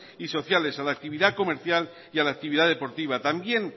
y sociales a la actividad comercial y a la actividad deportiva también